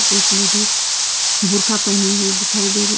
एक लेडिस बुर्का पहनी हुई दिखाई दे रही--